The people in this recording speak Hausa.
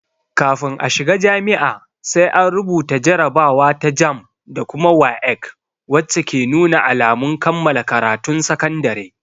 Kafin a shiga jami'a, sai an rubuta jarabawa ta "JAMB" da kuma "WAEC" wacce ke nuna alamun kammala karatun sakandare.